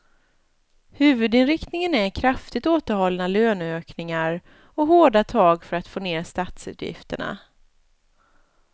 Huvudinriktningen är kraftigt återhållna löneökningar och hårda tag för att få ner statsutgifterna.